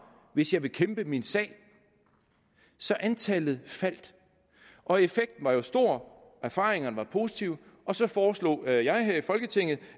hvis jeg vil kæmpe min sag så antallet faldt og effekten var jo stor erfaringerne var positive og så foreslog jeg her i folketinget